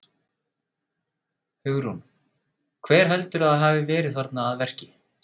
Hugrún: Hver heldurðu að hafi verið þarna að verki?